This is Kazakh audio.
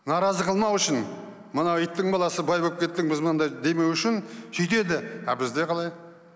наразы қылмау үшін мынау иттің баласы бай болып кеттің біз мынандай демеу үшін сөйтеді а бізде қалай